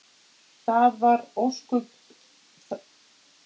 Það voru ósköp ljúfir tímar.